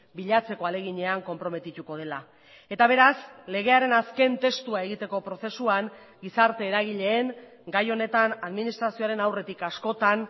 bilatzeko ahaleginean konprometituko dela eta beraz legearen azken testua egiteko prozesuan gizarte eragileen gai honetan administrazioaren aurretik askotan